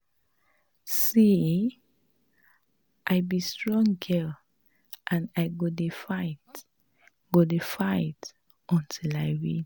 See eh, I be strong girl and I go dey fight go dey fight till I win